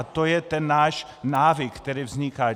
A to je ten náš návyk, který vzniká.